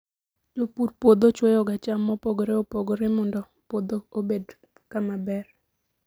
Jopur puodho chwoyoga cham mopogore opogore mondo puodho obed kama ber.